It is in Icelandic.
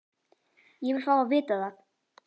Ég vil fá að vita það!